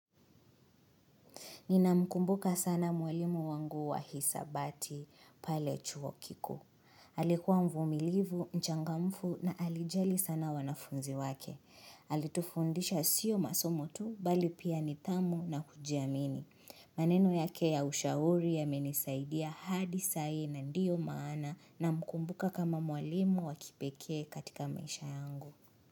Nina mkumbuka sana mwalimu wangu wa hisabati pale chuo kikuu. Alikuwa mvumilivu, mchangamfu na alijali sana wanafunzi wake. Alitufundisha sio masomo tu bali pia nidhamu na kujiamini. Maneno yake ya ushauri yamenisaidia hadi sa hii na ndiyo maana na mkumbuka kama mwalimu wa kipekee katika maisha yangu.